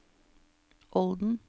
Olden